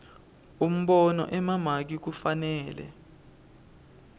umbono emamaki kufanele